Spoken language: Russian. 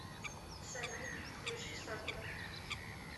салют включи сакура